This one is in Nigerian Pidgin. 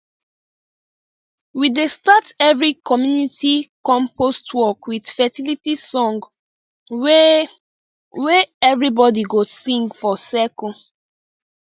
we dey start every community compost work with fertility song wey wey everybody go sing for circle